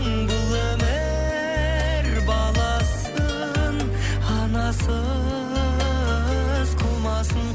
бұл өмір баласын анасыз қылмасын